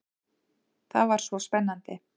Það var svo spennandi.